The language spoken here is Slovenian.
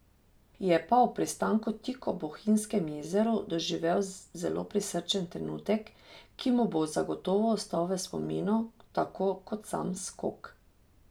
Je pa ob pristanku tik ob Bohinjskem jezeru doživel zelo prisrčen trenutek, ki mu bo zagotovo ostal v spominu tako kot sam skok.